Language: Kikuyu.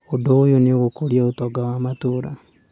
Ũndũ ũyũ nĩ gũkũria ũtonga wa matũũra.